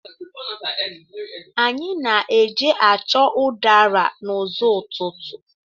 Anyị na-eje chọọ udara n'ụzọ́ ụtụtụ.